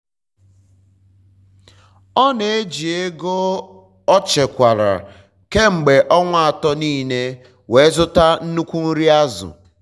ọ na-eji ego o chekwara kemgbe onwa atọ nile were zụta nnukwu nri azụ